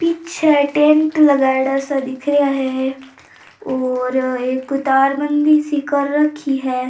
पीछे टेंट लगाईड़ा सा दिख रिया है और एक तारबंदी सी कर रखी है।